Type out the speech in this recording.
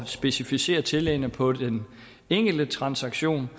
specificere tillæggene på den enkelte transaktion